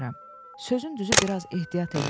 Sözün düzü biraz ehtiyat eləyirəm.